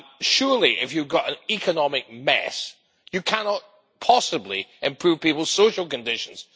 Surely, if you've got an economic mess, you cannot possibly improve people's social conditions.